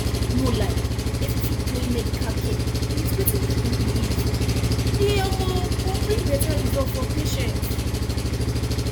no lie if we fit join medical care with wetin people believe e um go bring better result for patients